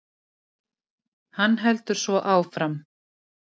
Hann heldur svo áfram